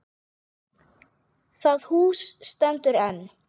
Það hús stendur enn.